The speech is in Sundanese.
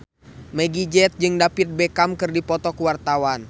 Meggie Z jeung David Beckham keur dipoto ku wartawan